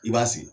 I b'a sigi